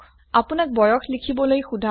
আপনাক বয়স লিখিবলৈ সোধা হয়